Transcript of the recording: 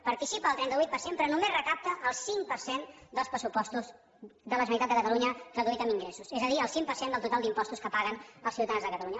participa del trenta vuit per cent però només recapta el cinc per cent dels pressupostos de la generalitat de catalunya traduït en ingressos és a dir el cinc per cent del total d’impostos que paguen els ciutadans de catalunya